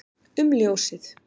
um ljósið